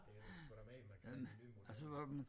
Det er sgu da mere end man kan med den nye model